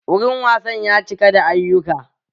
Wurin wasan ya cika da ayyuka